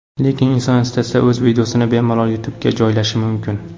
Lekin inson istasa o‘z videosini bemalol YouTube’ga joylashi mumkin.